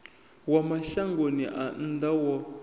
wa mashangoni a nnḓa wo